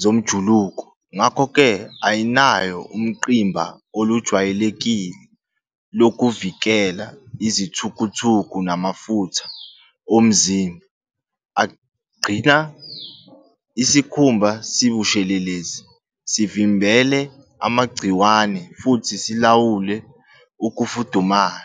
zomjuluko. Ngakho-ke, ayinayo ungqimba olujwayelekile lokuvikela izithukuthuku namafutha omzimba agcina isikhumba sibushelelezi, sivimbele amagciwane futhi silawule ukufudumala.